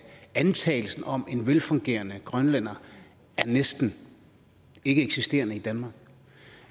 antagelsen om en velfungerende grønlænder er næsten ikkeeksisterende i danmark